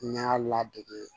N y'a ladege